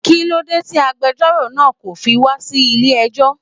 Kílódé ti agbẹjọ́rò náa kò fi wá sí ilé ẹjọ́